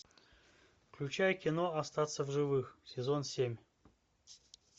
включай кино остаться в живых сезон семь